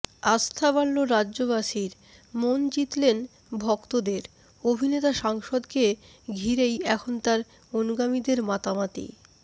আস্থা বাড়ল রাজ্যবাসীর মন জিতলেন ভক্তদের অভিনেতা সাংসদকে ঘিরেই এখন তাঁর অনুগামীদের মাতামাতি